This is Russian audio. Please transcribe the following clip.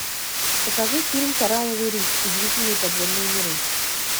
покажи фильм коралловый риф удивительные подводные миры